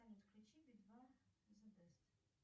салют включи би два зе бест